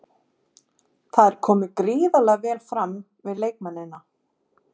Það er komið gríðarlega vel fram við leikmennina.